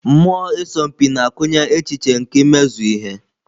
Mmụọ ịsọ mpi na-akụnye echiche nke imezu ihe.